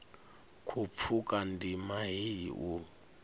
khou pfuka ndima heyi u